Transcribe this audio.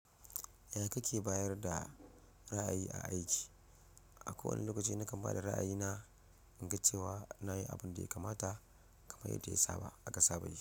Yaya kake bayar da ra'ayi a aiki? A kowane lokaci nakan ba da ra'ayina in ga cewa nayi abun da ya kamata, kamar yadda ya saba aka saba yi,